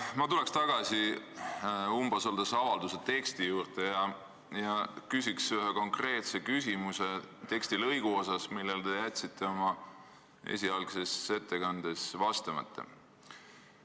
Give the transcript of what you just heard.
Ma tulen tagasi umbusaldusavalduse teksti juurde ja küsin ühe konkreetse küsimuse tekstilõigu kohta, millele te jätsite oma esialgses ettekandes vastamata.